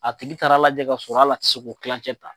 A tigi taara lajɛ ka sɔrɔ hali a tɛ se k'o kilan cɛ ta.